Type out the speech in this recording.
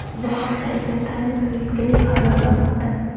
Bu haqda Entertainment Weekly xabar qilmoqda .